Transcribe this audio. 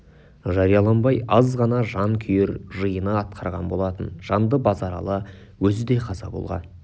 жарияланбай аз ғана жан күйер жиыны атқарған болатын жанды базаралы өзі де қаза болған